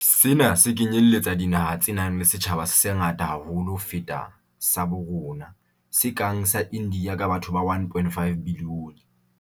Sena se kenyeletsa dinaha tse nang le setjhaba se sengata haholo ho feta sa bo rona, se kang sa India ka batho ba 1.5 bilione.